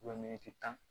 tan